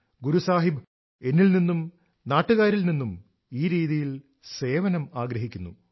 ഗുരു സാഹിബ് എന്നിൽ നിന്നും നാട്ടുകാരിൽ നിന്നും ഈ രീതിയിൽ സേവനം ആഗ്രഹിക്കുന്നു